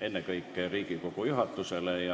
ennekõike Riigikogu juhatusele.